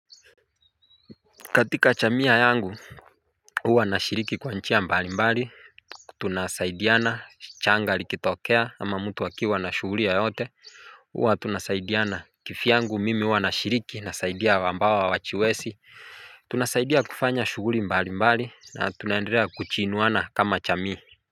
Katika chamia yangu, huwa nashiriki kwa njia mbali mbali, tunasaidiana changa likitokea ama mtu akiwa na shughuli yeyote uwa tunasaidiana. Kivyangu mimi uwa nashiriki na saidia wambao hawachiwesi. Tunasaidia kufanya shuguhli mbali mbali na tunaenderea kuchinuwana kama jamii.